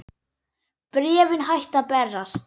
Bréfin hættu að berast.